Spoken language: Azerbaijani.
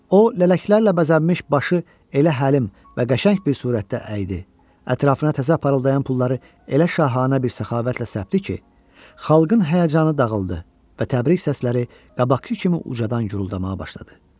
O, lələklərlə bəzənmiş başı elə həlim və qəşəng bir surətdə əydi, ətrafına təzə parıldayan pulları elə şahanə bir səxavətlə səpdi ki, xalqın həyəcanı dağıldı və təbrik səsləri qabaqkı kimi ucadan guruldamağa başladı.